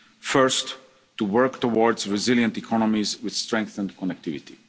policy objectives. First, to work towards resilient economies with strengthened